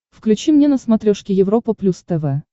включи мне на смотрешке европа плюс тв